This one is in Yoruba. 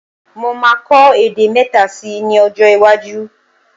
Mo máa kọ èdè mẹ́ta síi ní ọjọ́-iwájú.